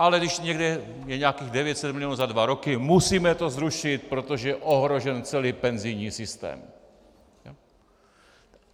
Ale když je někde nějakých 900 milionů za dva roky, musíme to zrušit, protože je ohrožen celý penzijní systém.